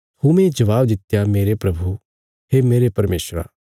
थोमे जबाब दित्या मेरे प्रभु हे मेरे परमेशरा